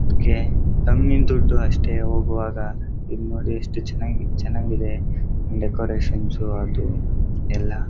ಅದ್ಕೆ ಹಂಗಿನ್ ದುಡ್ಡು ಅಷ್ಟೆ ಹಾಗೆ ಹೋಗುವಾಗ ಇಲ್ನೋಡಿ ಎಷ್ಟು ಚೆನ್ನಾಗಿ ಚೆನ್ನಾಗಿದೆ ಡೆಕೋರೇಶನ್ಸ್ ಅದು ಎಲ್ಲ.